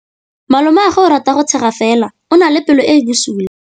Malomagwe o rata go tshega fela o na le pelo e e bosula.